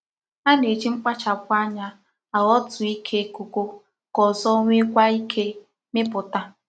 A na-eji mkpachapu anya aghotu Ike kokoka ozo nwekwa Ike miputa.